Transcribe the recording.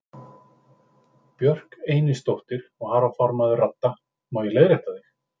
Björk Einisdóttir, varaformaður Radda: Má ég leiðrétta þig?